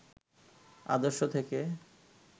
আদর্শ থেকে